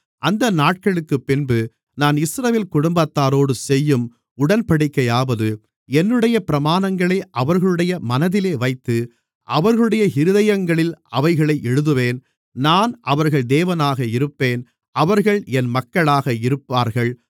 அந்த நாட்களுக்குப்பின்பு நான் இஸ்ரவேல் குடும்பத்தாரோடு செய்யும் உடன்படிக்கையாவது என்னுடைய பிரமாணங்களை அவர்களுடைய மனதிலே வைத்து அவர்களுடைய இருதயங்களில் அவைகளை எழுதுவேன் நான் அவர்கள் தேவனாக இருப்பேன் அவர்கள் என் மக்களாக இருப்பார்கள்